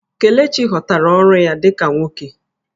Kelechi ghọtara ọrụ ya dị ka nwoke